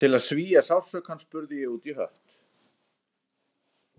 Til að svía sársaukann spurði ég útí hött